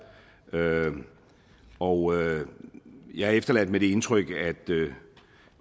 og jeg er efterladt med det indtryk